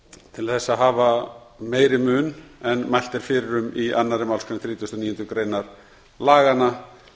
til þess að hafa meiri mun en mælt er fyrir um í annarri málsgrein þrítugustu og níundu greinar laganna